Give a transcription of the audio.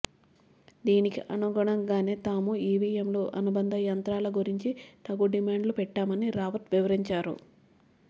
దీనికి అనుగుణంగానే తాము ఇవిఎంలు అనుబంధ యంత్రాల గురించి తగు డిమాండ్లు పెట్టామని రావత్ వివరించారు